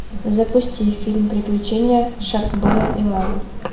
запусти фильм приключения шаркбоя и лавы